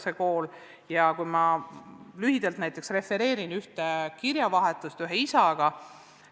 Ma refereerin lühidalt näiteks kirjavahetust ühe isaga.